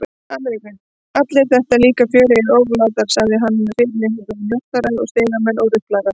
Ameríku, allir þetta líka fjörugir oflátungar, sagði hann með fyrirlitningu, njósnarar og stigamenn og ruplarar.